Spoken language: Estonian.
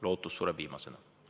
Lootus sureb viimasena.